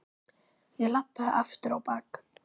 Ég labbaði aftur á bak.